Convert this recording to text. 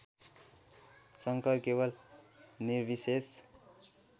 शङ्कर केवल निर्विशेष